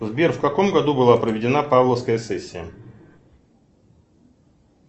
сбер в каком году была проведена павловская сессия